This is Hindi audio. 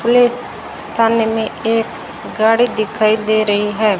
पुलिस थाने में एक गाड़ी दिखाई दे रही है।